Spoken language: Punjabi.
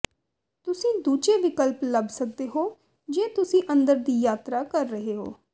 ਤੁਸੀਂ ਦੂਜੇ ਵਿਕਲਪ ਲੱਭ ਸਕਦੇ ਹੋ ਜੇ ਤੁਸੀਂ ਅੰਦਰ ਦੀ ਯਾਤਰਾ ਕਰ ਰਹੇ ਹੋ